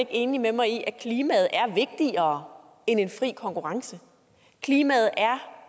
enig med mig i at klimaet er vigtigere end en fri konkurrence klimaet er